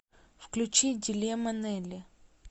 включи дилемма нелли